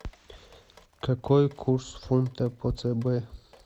какой курс фунта по цб